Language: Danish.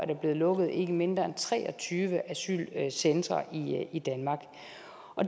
er blevet lukket ikke mindre end tre og tyve asylcentre i danmark